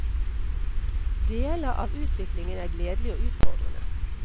Deler av utviklingen er gledelig og utfordrende.